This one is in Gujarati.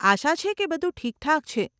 આશા છે કે બધું ઠીકઠાક છે.